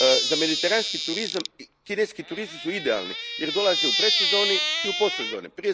Za Mediteranski turizam kineski turisti su idealni jer dolaze u predsezoni i u postsezoni.